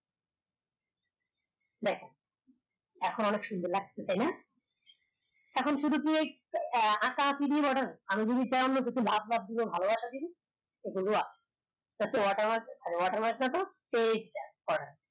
দেখ এখন অনেক সুন্দর লাগছে তাই না এখন শুধু তু ওই আহ আকা একি আমি যদি চাই ভালোবাসা দিবি এত watermark, watermark না এটা